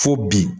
Fo bi